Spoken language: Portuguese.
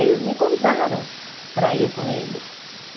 Eles me convidaram para ir com eles.